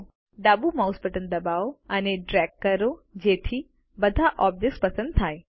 હવે ડાબુ mouse button દબાવો અને ડ્રેગ કરો જેથી બધા ઓબ્જેક્ટ્સ પસંદ થાય